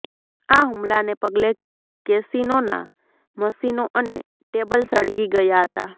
આ હુમલાને પગલે કેસીનોના મશીનો અને ટેબલ સળગી ગયા હતા